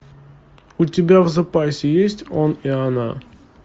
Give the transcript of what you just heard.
у тебя в запасе есть он и она